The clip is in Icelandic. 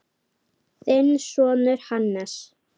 Þinn sonur, Hannes.